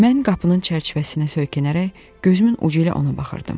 Mən qapının çərçivəsinə söykənərək gözümün ucu ilə ona baxırdım.